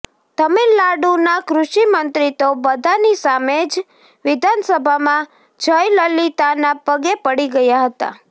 તમિલનાડુના કૃષિ મંત્રી તો બધાની સામે જ વિધાનસભામાં જયલલિતાના પગે પડી ગયા હતા